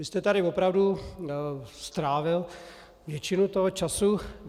Vy jste tady opravdu strávil většinu toho času.